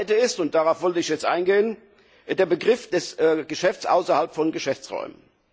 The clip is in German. Aber das Zweite ist, und darauf wollte ich jetzt eingehen, der Begriff des Geschäfts außerhalb von Geschäftsräumen.